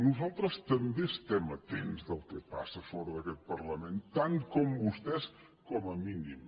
nosaltres també estem atents al que passa fora d’aquest parlament tant com vostès com a mínim